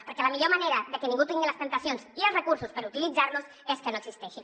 perquè la millor manera de que ningú tingui les temptacions i els recursos per utilitzar los és que no existeixin